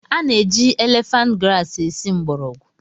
A na-eji elefant grasi esi mgbọrọgwụ